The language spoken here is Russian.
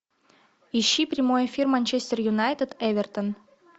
ищи прямой эфир манчестер юнайтед эвертон